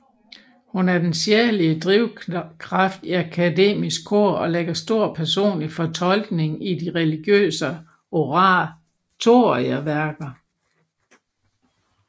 Hun er den sjælelige drivkraft i Akademisk Kor og lægger stor personlig fortolkning i de religiøse oratorieværker